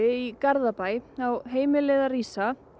í Garðabæ á heimilið að rísa